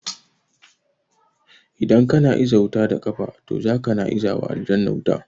Idan kana iza wuta da kafa to zaka na izawa aljanu wuta